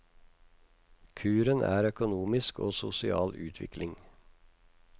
Kuren er økonomisk og sosial utvikling.